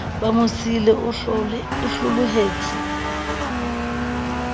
ba mo siile o hlolohetse